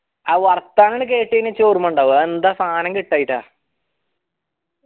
ആ വർത്താനം കേട്ടയിന ചിനിക്ക് ഓർമിണ്ടാഉവ ആയെന്താ സൻആ കിട്ടായിട്ടാ